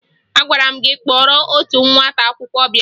Agwara m gị kpọrọ otu nwata akwụkwọ bịa!